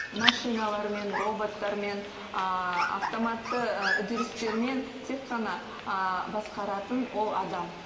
машиналармен роботтармен автоматты үдерістермен тек қана басқаратын ол адам